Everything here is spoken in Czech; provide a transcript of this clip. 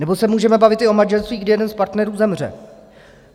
Nebo se můžeme bavit i o manželství, kdy jeden z partnerů zemře.